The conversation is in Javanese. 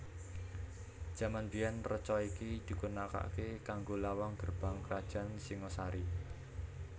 Jaman biyèn reca iki digunakaké kanggo lawang gerbang karajan Singhasari